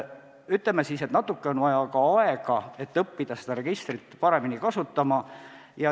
Ütleme siis nii, et natuke on vaja aega, et õppida seda registrit paremini kasutama.